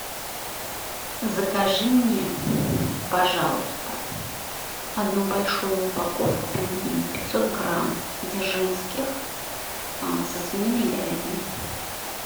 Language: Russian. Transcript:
закажи мне пожалуйста одну большую упаковку пельменей пятьсот грамм дзержинских со свининой и говядиной